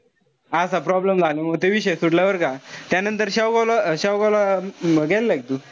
असा problem झालयामुळे म विषयच सुटला बरं का. त्यानंतर शाहू शाहूबा ला गेलेलंय का तू?